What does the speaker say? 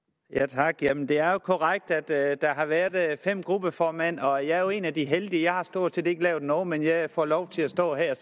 tak jamen det er jo korrekt at der har været været fem gruppeformænd og jeg er jo en af de heldige for jeg har stort set ikke lavet noget men jeg får lov til at stå her